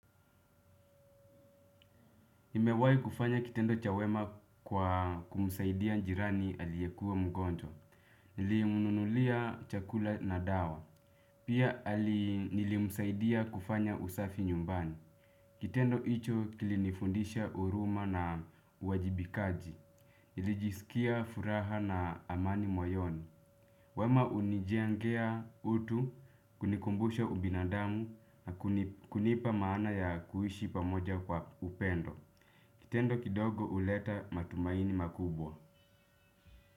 Nimewai kufanya kitendo cha wema kwa kumsaidia jirani aliyekuwa mgonjwa. Nilimununulia chakula na dawa. Pia nilimsaidia kufanya usafi nyumbani. Kitendo hicho kilinifundisha huruma na uwajibikaji. Nilijisikia furaha na amani moyoni. Wema hunijengea utu kunikumbusha ubinadamu na kunipa maana ya kuishi pamoja kwa upendo. Kitendo kidogo huleta matumaini makubwa.